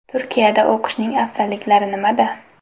Turkiyada o‘qishning afzalliklari nimada?